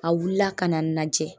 A wula ka na najɛ